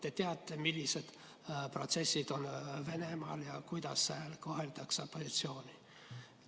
Te teate, millised protsessid on Venemaal ja kuidas seal koheldakse opositsiooni.